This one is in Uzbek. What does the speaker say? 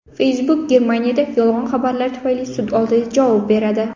Facebook Germaniyada yolg‘on xabarlar tufayli sud oldida javob beradi.